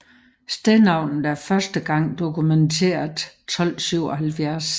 Stednavnet er første gang dokumenteret 1277